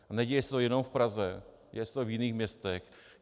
A neděje se to jenom v Praze, děje se to i v jiných městech.